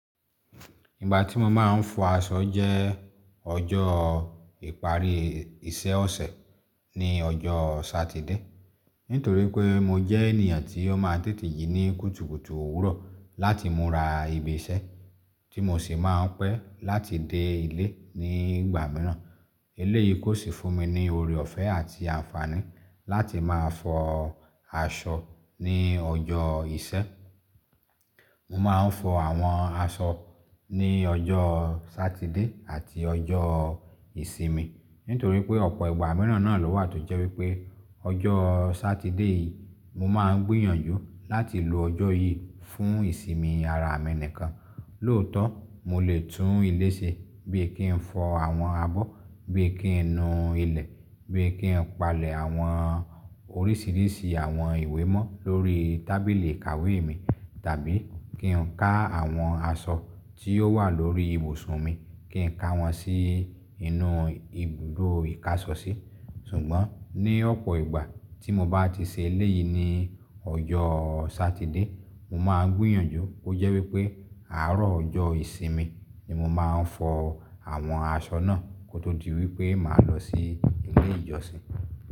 Ìgbà tí mo máa ń fọ aṣọ jẹ́ ọjọ́ ìparí iṣẹ́ ọ̀sẹ̀ ní ọjọ́ Satide. Nítorí pé mo jẹ́ ènìyàn tí ó máa ń tètè jí ní kùtùkùtù òwúrọ̀ láti múra ibi iṣẹ́ tí mo sì máa ń pẹ́ láti dé ilé ní ìgbà mìíràn. Eléyìí kó sì fún mi ní ọ̀rẹ̀ ọ̀fẹ́ àti àǹfààní láti máa fọ aṣọ ní ọjọ́ ìṣẹ́. Mo máa ń fọ àwọn aṣọ ní ọjọ́ Satide àti ọjọ́ Ìsinmi. Nítorí pé ọ̀pọ̀ ìgbà mìíràn náà ló wà tó jẹ́ wípé ọjọ́ Satide yìí mo máa ń gbìyànjú láti lo ọjọ́ yìí fún ìsinmi ara mi nìkan. Lóòótọ́ mo lè tún ilé ṣe bíi kí n fọ àwọn abọ́, bíi kí n nu ilẹ̀, bíi kí n palẹ̀ àwọn oríṣìíríṣìí àwọn ìwé mọ́ lórí tábìlì ìkàwé mi tàbí kí n ká àwọn aṣọ tí ó wà lórí ibùsùn mi kí n ká wọn sí inú ibùdó ìkáṣọsí. Sùgbọ́n ní ọ̀pọ̀ ìgbà tí mo bá ti ṣe eléyìí ní ọjọ́ Satide, mo máa ń gbìyànjú ó jẹ́ wípé àárọ̀ ọjọ́ Ìsinmi ni mo máa ń fọ àwọn aṣọ náà kó tó di wípé màá lọ sí ilé ìjọsìn.